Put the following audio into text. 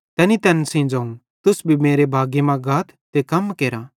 तैनी तैन सेइं ज़ोवं तुस भी मेरे बागी मां गाथ ते कम केरा